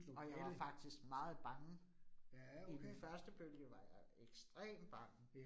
Og jeg var faktisk meget bange. I den første bølge var jeg ekstremt bange